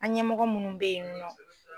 An ɲɛmɔgɔ munnu bɛ ye nin nɔ